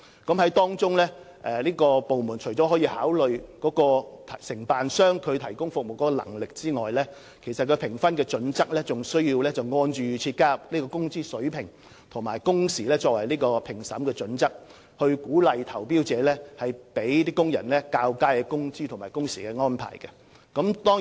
部門在評分時除考慮承辦商提供服務的能力之外，亦需按照預設標準加入工資水平和工時作為評分準則，以鼓勵投標者向工人提供較佳的工資和工時安排。